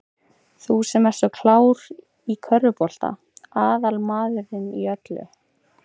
Þú sem ert svo klár. í körfubolta. aðal maðurinn í öllu!